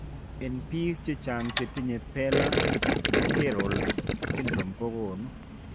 En biik chechang chetinye Baller Gerold syndrome kogonu ..